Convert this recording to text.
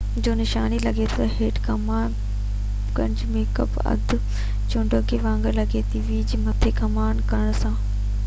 هڪ مٿي ڪمان ڪرڻ سان v جو نشان لڳي ٿو ۽ هيٺ ڪمان ڪرڻ سان ميک يا اڌ چوڪنڊي وانگر لڳي ٿو